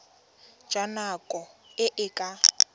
jwa nako e e ka